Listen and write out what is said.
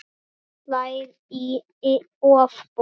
Það slær í ofboði.